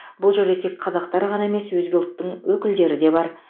бұл жерде тек қазақтар ғана емес өзге ұлттың өкілдері де бар